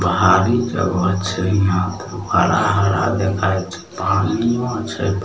पहाड़ी जगह छै यहां पे हरा हरा देखाय छै पानियो छै ।